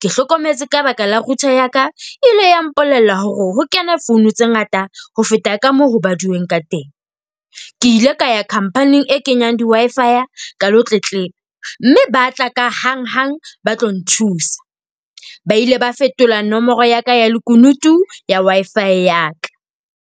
Ke hlokometse ka baka la router ya ka, ile ya mpolella hore ho kena founo tse ngata ho feta ka moo ho baduweng ka teng. Ke ile ka ya company-ng e kenyang di Wi-Fi-ya ka lo tletleba. Mme ba tla ka hanghang, ba tlo nthusa. Ba ile ba fetola nomoro ya ka ya lekunutu ya Wi-Fi ya Ka.